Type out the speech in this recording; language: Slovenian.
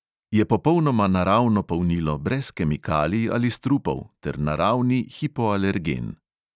Je popolnoma naravno polnilo, brez kemikalij ali strupov, ter naravni hipoalergen.